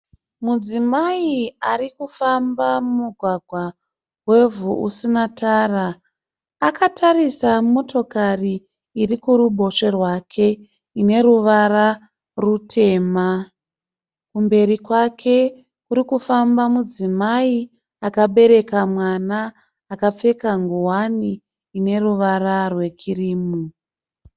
Mudzimai arikufamba mumugwagwa wevhu usina tara. Akatarisa motokari iri kuruboshwe rwake ine ruvara rutema. Kumberi kwake kuri kufamba mudzimai akabereka mwana akapfeka ngowani ine ruvara rwekirimu.